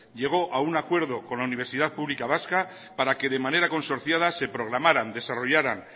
llegó a un acuerdo con la universidad pública vasca para que de manera consorciada se programaran desarrollaran